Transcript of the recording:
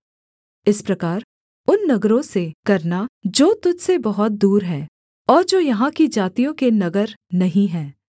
इस प्रकार उन नगरों से करना जो तुझ से बहुत दूर हैं और जो यहाँ की जातियों के नगर नहीं हैं